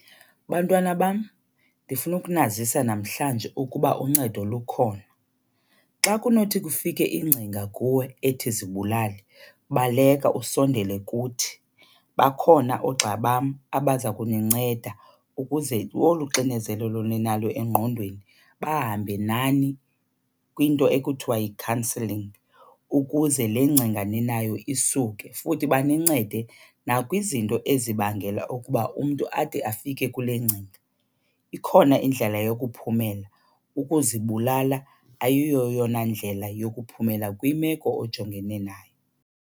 Bantwana bam, ndifuna ukunazisa namhlanje ukuba uncedo lukhona. Xa kunothi kufike ingcinga kuwe ethi zibulale baleka usondele kuthi. Bakhona oogxa bam abaza kuninceda ukuze olu xinezelelo ninalo engqondweni bahambe nani kwinto ekuthiwa yi-counselling ukuze le ngcinga ninayo isuke. Futhi banincede nakwizinto ezibangela ukuba umntu ade afike kule ngcinga. Ikhona indlela yokuphumelela, ukuzibulala ayiyo yona ndlela yokuphumelela kwimeko ojongene nayo.